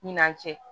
Ɲinan cɛ